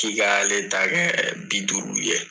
K'i ka ale ta kɛ bi duuru ye.